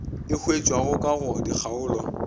e hwetšwago ka go dikgaolo